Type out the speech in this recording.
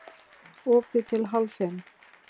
Opið til hálf fimm